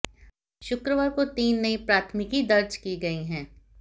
शुक्रवार को तीन नई प्राथमिकी दर्ज की गई है